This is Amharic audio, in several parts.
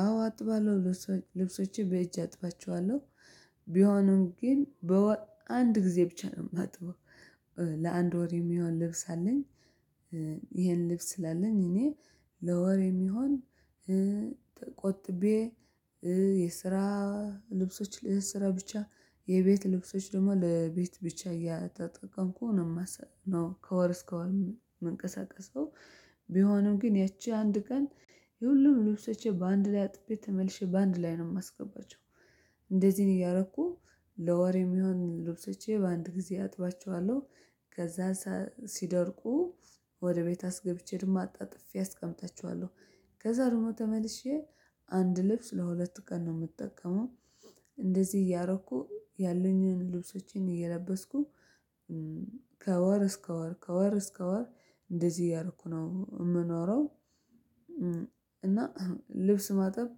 አዎ አጥባለሁ ልብሶችን በእጅ አጥባቸዋለሁ ቢሆንም ግን በወር አንድ ጊዜ ብቻ ነው የማጥበው። ለአንድ ወር የሚሆን ልብስ አለኝ። ይሄን ልብስ ስላለኝ እኔ ለወሬ የሚሆን። ተቆጥቤ የስራ ልብሶች ለስራ ብቻ የቤት ልብሶች ደግሞ ለቤት ብቻ እየተጠቀምኩ ነው ማሳጥበው ነው። ከወር እስከ ወር ምንቀሳቀሰው። ቢሆንም ግን ያቺ አንድ ቀን የሁሉም ልብሶቼ በአንድ ላይ አጥቤ ተመልሼ በአንድ ላይ ነው የማስገባቸው። እንደዚህ እያረኩ ለወሬ የሚሆን ልብሶቼ በአንድ ጊዜ አጥባቸዋለሁ። ከዛ ሲደርቁ ወደ ቤት አስገብቼ ደሞ አጣጥፌ አስቀምጣቸዋለሁ። ከዛ ደግሞ ተመልሼ አንድ ልብስ ለሁለት ቀን ነው የምጠቀመው። እንደዚህ እያረኩ ያለኝን ልብሶችን እየለበስኩ። ከወር እስከ ወር ከወር እስከ ወር እንደዚህ ያደረኩ ነው የምኖረው። እና ልብስ ማጠብ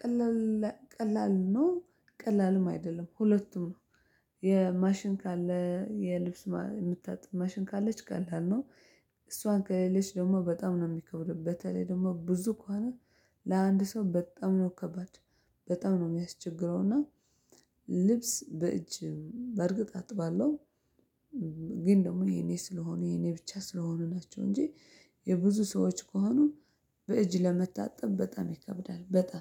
ቀላል ቀላል ነው። ቀላልም አይደለም ሁለቱም ነው። የማሽን ካለ የልብስ የምታጥብ ማሽን ካለች ቀላል ነው። እሷን ከሌለች ደግሞ በጣም ነው የሚከብደው። በተለይ ደግሞ ብዙ ከሆነ። ለአንድ ሰው በጣም ነው ከባድ። በጣም ነው የሚያስቸግረውና። ልብስ በእጅ በእርግጥ አጥባለሁ። ግን ደግሞ የኔ ስለሆኑ የኔ ብቻ ስለሆኑ ናቸው። እንጂ የብዙ ሰዎች ከሆኑ በእጅ ለመታጠብ በጣም ይከብዳል። በጣም